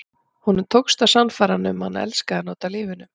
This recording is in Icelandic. Honum tókst að sannfæra hana um að hann elskaði hana út af lífinu.